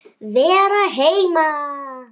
Vera heima.